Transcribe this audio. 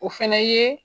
O fɛnɛ ye